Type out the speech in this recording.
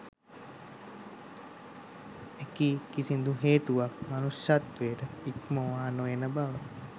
එකී කිසිදු හේතුවක් මනුෂ්‍යත්වය ඉක්මවා නොයන බව